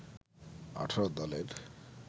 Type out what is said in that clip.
১৮ দলের